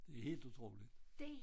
Det helt utroligt